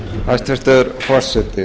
hæstvirtur forseti